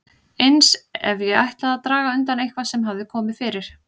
Eins ef ég ætlaði að draga undan eitthvað sem hafði komið fyrir.